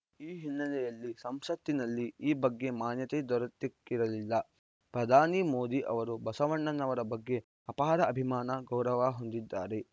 ಈ ಹಿನ್ನೆಲೆಯಲ್ಲಿ ಸಂಸತ್ತಿನಲ್ಲಿ ಈ ಬಗ್ಗೆ ಮಾನ್ಯತೆ ದೊರೆತಿಕ್ಕಿರಲಿಲ್ಲ ಪ್ರಧಾನಿ ಮೋದಿ ಅವರು ಬಸವಣ್ಣನವರ ಬಗ್ಗೆ ಅಪಾರ ಅಭಿಮಾನ ಗೌರವ ಹೊಂದಿದ್ದಾರೆ